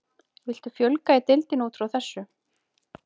Viltu fjölga í deildinni útfrá þessu?